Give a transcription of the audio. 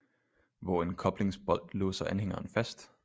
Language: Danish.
Hvor en koblingsbolt låser anhængeren fast